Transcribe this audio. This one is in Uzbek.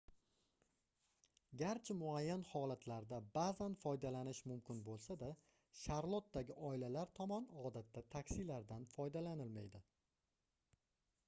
garchi muayyan holatlarda baʼzan foydalanish mumkin boʻlsa-da sharlotdagi oilalar tomon odatda taksilardan foydalanilmaydi